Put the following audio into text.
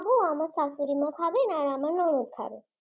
লঙ্কা আমি খাব আমার শাশুড়ি মা খাবেন আমার ননদ খাবে